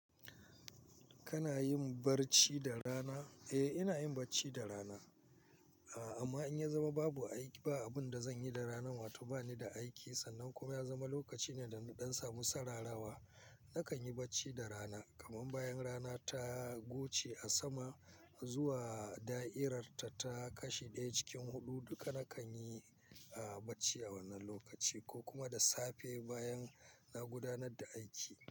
Kana yin barci da rana? Eh, ina yin barci da rana. Amma in ya zama babu aiki, ba abun da zanyi da rana wato bani da aiki sannan kuma ya zama lokaci ne da ɗan samu sararawa nakan yi bacci da rana kaman bayan rana ta goce a sama zuwa da'irar ta kashi ɗaya cikin huɗu, duka nakan yi barci a wannan lokaci ko kuma da safe bayan na gudanar da aiki.